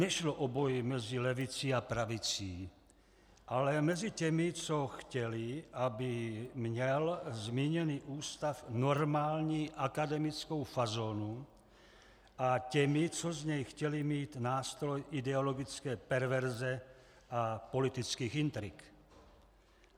Nešlo o boj mezi levicí a pravicí, ale mezi těmi, co chtěli, aby měl zmíněný ústav normální akademickou fazonu, a těmi, co z něj chtěli mít nástroj ideologické perverze a politických intrik.